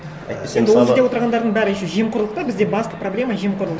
әйтпесе мысалы ол жерде отырғандардың бәрі еще жемқорлық та бізде басты проблема жемқорлық